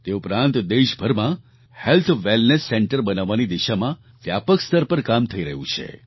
તે ઉપરાંત દેશભરમાં હેલ્થ વેલનેસ સેન્ટર્સ બનાવવાની દિશામાં વ્યાપક સ્તર પર કામ થઈ રહ્યું છે